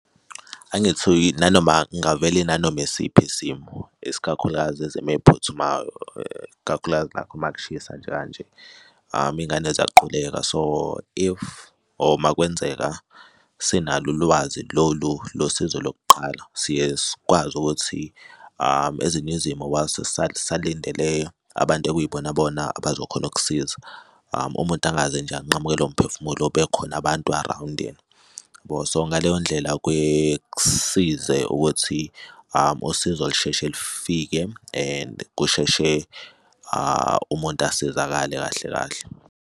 Angithi nanoma ngavele inanoma isiphi isimo isikakhulukazi ezimo ey'phuthumayo ikakhulukazi lapho uma kushisa nje kanje iy'ngane ziyaquleka so if or uma kwenzeka, sinalo ulwazi lolu lo sizo lokuqala siye sikwazi ukuthi ezinye izimo while sisalindile abantu okuyibona bona abazokhona ukukusiza, umuntu angaze nje unqamukelwe umphefumulo bekhona abantu around yena. So ngaleyo ndlela kuye kusize ukuthi usizo lusheshe lifike and kusheshe umuntu asizakale kahle kahle.